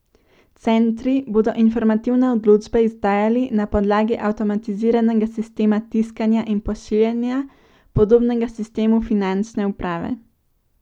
Centri bodo informativne odločbe izdajali na podlagi avtomatiziranega sistema tiskanja in pošiljanja, podobnega sistemu Finančne uprave.